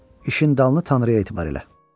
İşin dalını Tanrıya etibar elə.